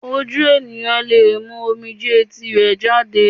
Ojú ènìyàn lè mú omijé tirẹ̀ jáde